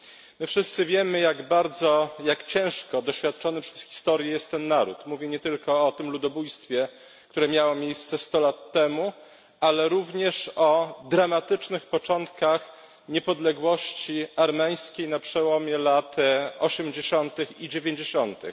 My wszyscy wiemy jak bardzo, jak ciężko doświadczony przez historię jest ten naród mówię nie tylko o tym ludobójstwie, które miało miejsce sto lat temu, ale również o dramatycznych początkach niepodległości armeńskiej na przełomie lat osiemdziesiątych i dziewięćdziesiątych.